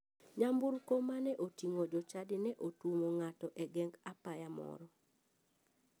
Nyamburko mane oting'o jochadi ne otuomo ng'ato e geng apaya moro.